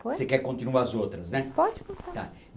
Você que continue as outras, né? Pode contar. Tá